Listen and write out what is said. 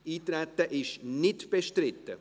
– Das Eintreten ist nicht bestritten.